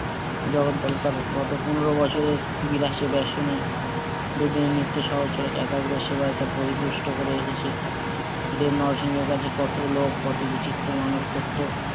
জগদ্দল তার গত পনেরো বছরের বিরাট সুদর্শনে যদি নিত্য সহচর একাগ্র সেবায় তার পরিপুষ্ট করে রেখেছে ওদের এর কাছে কত কত বিচিত্র মানত করতো